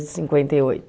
Cinquenta e oito.